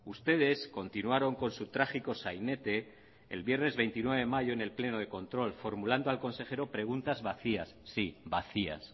ustedes continuaron con su trágico sainete el viernes veintinueve de mayo en el pleno de control formulando al consejero preguntas vacías sí vacías